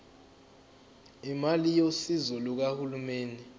imali yosizo lukahulumeni